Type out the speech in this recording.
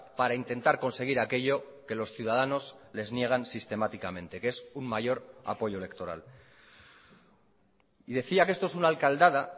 para intentar conseguir aquello que los ciudadanos les niegan sistemáticamente que es un mayor apoyo electoral y decía que esto es una alcaldada